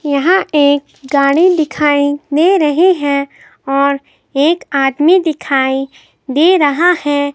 यहां एक गाड़ी दिखाई दे रही है और एक आदमी दिखाई दे रहा है।